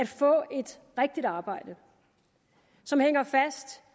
få et rigtigt arbejde som hænger fast